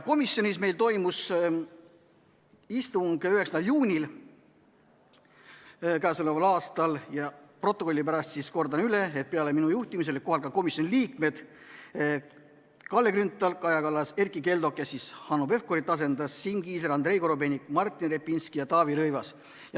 Komisjonis toimus istung 9. juunil k.a. Protokolli pärast kordan üle, et peale minu olid kohal ka komisjoni liikmed Kalle Grünthal, Kaja Kallas, Erkki Keldo, kes Hanno Pevkurit asendas, Siim Kiisler, Andrei Korobeinik, Martin Repinski ja Taavi Rõivas.